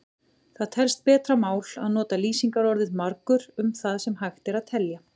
Það telst betra mál að nota lýsingarorðið margur um það sem hægt er að telja.